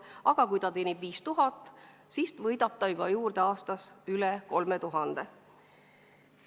Aga kui inimene teenib 5000 eurot kuus, siis võidab ta aastas juurde üle 3000 euro.